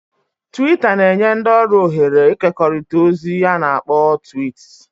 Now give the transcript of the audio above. "Twiita na-enye ndị ọrụ ohere ịkekọrịta ozi a na-akpọ ""twiits"""